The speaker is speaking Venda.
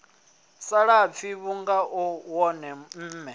salafhi vhunga u wone mme